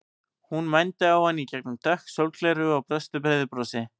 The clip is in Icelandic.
Hún mændi á hann í gegnum dökk sólgleraugu og brosti breiðu brosi.